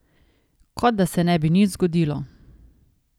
Kot da se ne bi nič zgodilo.